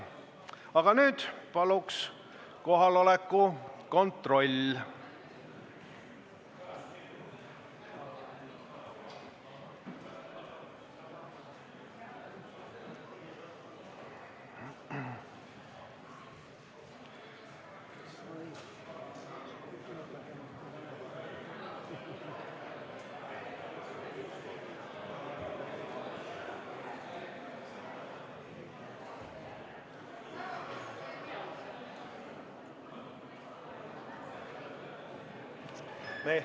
Aga nüüd paluks kohaloleku kontrolli.